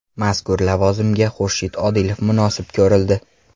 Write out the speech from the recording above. Mazkur lavozimga Xurshid Odilov munosib ko‘rildi.